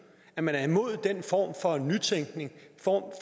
at man er imod den form for nytænkning den form